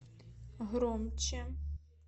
громче